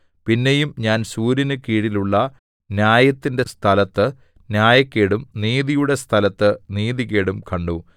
പിന്നെയും ഞാൻ സൂര്യനു കീഴിലുള്ള ന്യായത്തിന്റെ സ്ഥലത്ത് ന്യായക്കേടും നീതിയുടെ സ്ഥലത്ത് നീതികേടും കണ്ടു